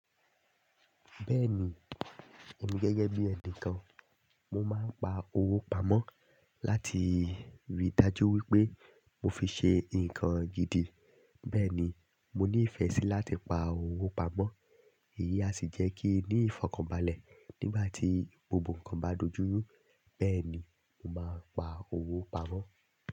Bẹ́ẹ̀ni, èmi gẹ́gẹ́ bí ẹnìkan, mo máa ń pa owó pamọ́ láti rí dájú wípé mo fi ṣe nǹkan gidi. Bẹ́ẹ̀ ni, mo ní ìfẹ́ sí láti pa owó pamọ́, èyí a sì jẹ́ kí ní ìfọ̀kànbalẹ̀ nígbà tí gbogbo ǹkan bá dojú rú. Bẹ́ẹ̀ ni, mo máa ń pa owó pamọ́.